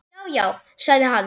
Já, já sagði hann.